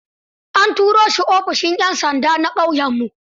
An tura shi ofishin 'yan sanda na ƙauyenmu.